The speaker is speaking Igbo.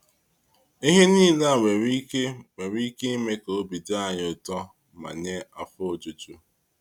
Ihe niile a nwere ike nwere ike ime ka obi dị anyị ụtọ ma nye afọ ojuju.